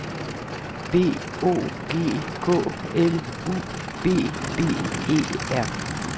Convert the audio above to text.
B O G K L U B B E R